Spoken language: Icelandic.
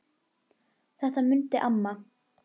Þetta mundi amma.